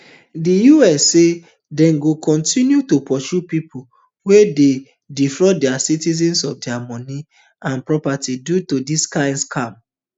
di us say dem go kontinu to pursue pipo wia don dey defraud dia citizens of dia money and properties due to dis kind scams